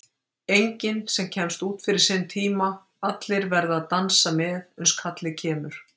Enginn sem kemst út fyrir sinn tíma, allir verða að dansa með uns kallið kemur.